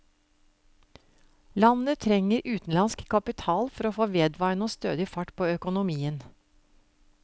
Landet trenger utenlandsk kapital for å få vedvarende og stødig fart på økonomien.